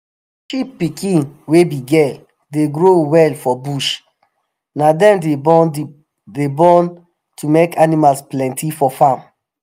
sheep pikin wey be girl dey grow well for bush na dem dey born dey born to make animals plenty for farm